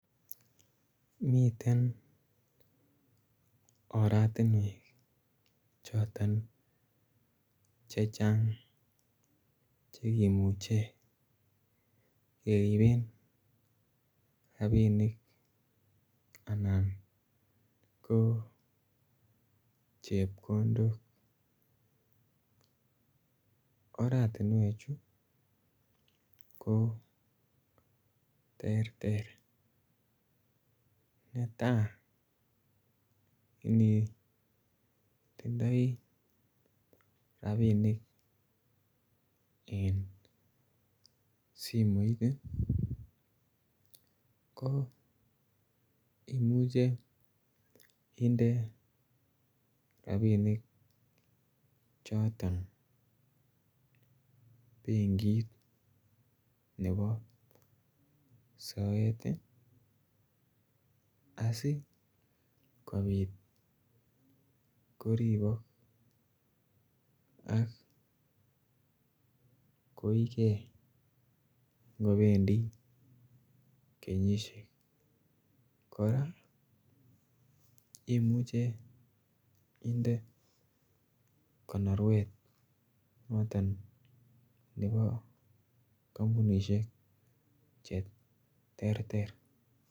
Miten oratinwek choton chechang che kimuche keriben rabinik anan ko chepkondok. Oratinwek chu ko terter netaa ko initindoi rabinik en simoit ii ko imuche inde rabinik choton benkit nebo soet ii asikopit koribok ak koiegee ngobendi kenyisiek. Koraa imuche inde konorwet noton nebo kompounishek che terter